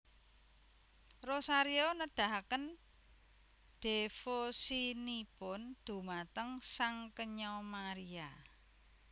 Rosario nedahaken dhévosinipun dhumateng Sang Kenya Maria